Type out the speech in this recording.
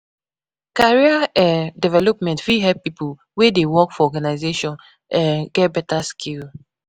Career um development fit help pipo wey dey work for organisation um get better skill